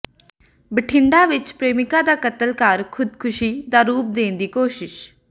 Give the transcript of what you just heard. ਬਠਿੰਡਾ ਵਿੱਚ ਪ੍ਰੇਮਿਕਾ ਦਾ ਕਤਲ ਕਰ ਖ਼ੁਦਕੁਸ਼ੀ ਦਾ ਰੂਪ ਦੇਣ ਦੀ ਕੋਸ਼ਿਸ਼